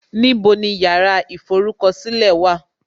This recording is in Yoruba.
Níbo ni yàrá ìforúkọ̀sílẹ̀ wà?